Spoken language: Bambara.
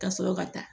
Ka sɔrɔ ka taa